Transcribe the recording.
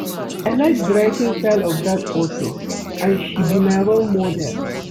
I like the writing style of dat authour and she be my role model